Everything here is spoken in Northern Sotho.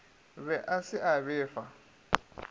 be a se a befa